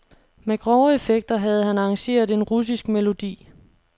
Med grove effekter havde han arrangeret en russisk melodi.